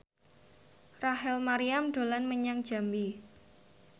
Rachel Maryam dolan menyang Jambi